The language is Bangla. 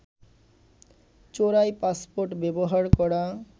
চোরাই পাসপোর্ট ব্যবহার করা